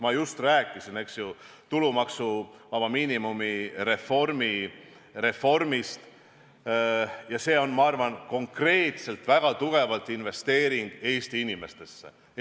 Ma just rääkisin tulumaksuvaba miinimumi reformist ja see on, ma arvan, konkreetselt väga tugev investeering Eesti inimestesse.